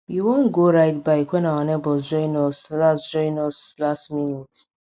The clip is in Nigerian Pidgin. we wan go ride bike wen our neighbors join us last join us last minute